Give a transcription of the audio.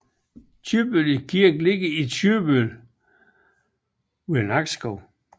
Købelev Kirke ligger i Købelev ved Nakskov